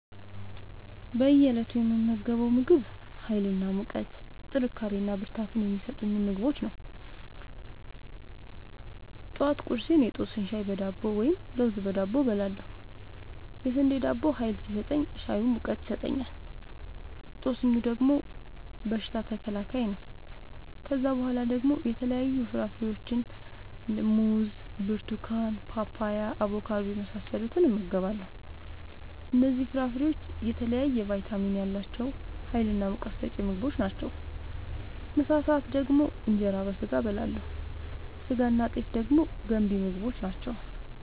በእየ እለቱ የምመገበው ምግብ ሀይል እና ሙቀት ጥንካሬና ብርታት የሚሰጡ ምግቦችን ነው። ጠዋት ቁርሴን የጦስኝ ሻይ በዳቦ ወይም ለውዝ በዳቦ እበላለሁ። የስንዴ ዳቦው ሀይል ሲሰጠኝ ሻዩ ሙቀት ይሰጠኛል። ጦስኙ ደግሞ በሽታ ተከላካይ ነው። ከዛ በኋላ ደግሞ የተለያዩ ፍራፍሬዎችን(ሙዝ፣ ብርቱካን፣ ፓፓያ፣ አቦካዶ) የመሳሰሉትን እመገባለሁ እነዚህ ፍራፍሬዎች የተለያየ ቫይታሚን ያላቸው ሀይልናሙቀት ሰጪ ምግቦች ናቸው። ምሳ ሰአት ደግሞ እንጀራ በስጋ አበላለሁ ስጋናጤፍ ደግሞ ገንቢ ምግቦች ናቸው